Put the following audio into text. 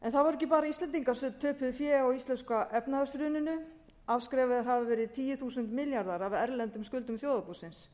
ekki bara íslendingar sem töpuðu fé á íslenska efnahagshruninu afskrifaðir hafa verið tíu þúsund milljarðar af erlendum skuldum þjóðarbúsins